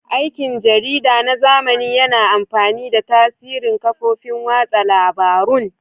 Aikin jarida na zamani yana amfani da tasirin kafofin watsa labarun.